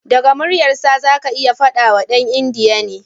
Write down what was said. Daga muryarsa zaka iya fadawa dan india ne.